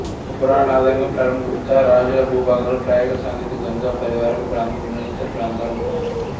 పురాణాల ఆధారంగా ప్రారంభ గుప్తా రాజుల భూభాగంలో ప్రయాగ సాకేత గంగా పరీవాహక ప్రాంతంలోని ఇతర ప్రాంతాలు ఉన్నాయి